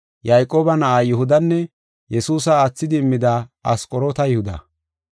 Yayqooba na7aa Yihudanne Yesuusa aathidi immida Asqoroota Yihuda.